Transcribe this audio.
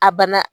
A bana